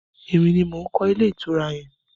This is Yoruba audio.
Emi ni mo kọ́ ilé ìtura yẹn.